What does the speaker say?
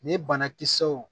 Ni banakisɛw